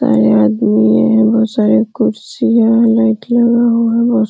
आदमी हैं। बहोत सारे कुर्सियां --